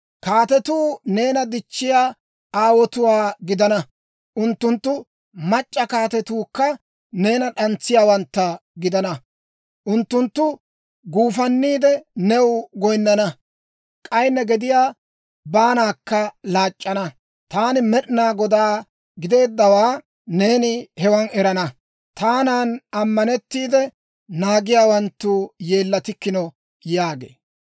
Kaatetuu neena dichchiyaa aawotuwaa gidana; unttunttu mac'c'a kaatetuukka neena d'antsiyaawantta gidana. Unttunttu guufanniide, new goyinnana; k'ay ne gediyaa baanaakka laac'c'ana. Taani Med'inaa Godaa gideeddawaa neeni hewan erana; taanan ammanettiide naagiyaawanttu yeellatikkino» yaagee.